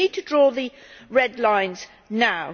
So we need to draw the red lines now.